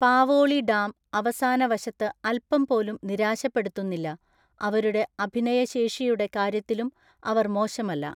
പാവോളി dam അവസാന വശത്ത് അൽപ്പം പോലും നിരാശപ്പെടുത്തുന്നില്ല, അവരുടെ അഭിനയ ശേഷിയുടെ കാര്യത്തിലും അവർ മോശമല്ല.